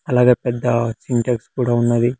అలాగే పెద్ద సింటాక్స్ కూడా ఉన్నది.